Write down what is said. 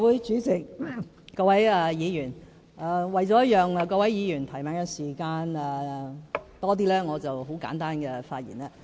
主席，各位議員，為了讓各位議員有更多提問時間，我將會作很簡單的發言。